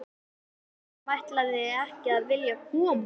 Þú sem ætlaðir ekki að vilja koma!